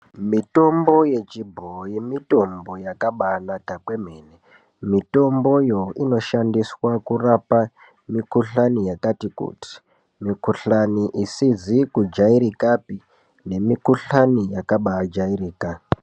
Mitombo yechibhoyi mitombo yakabaanaka kwemene. Mitomboyo inoshandiswa kurapa mikhuhlani yakati- kuti, mikhuhlani isizi kujairikapi nemikhuhlani yakabaajairika.